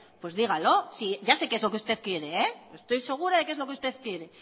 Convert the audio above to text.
pues dígalo si ya sé que es lo que usted quiere estoy segura que es lo que usted quiere